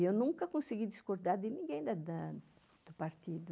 E eu nunca consegui discordar de ninguém do partido.